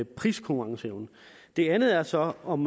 priskonkurrenceevnen det andet er så om